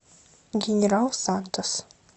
генерал сантос